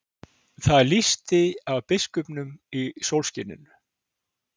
Það lýsti af biskupnum í sólskininu.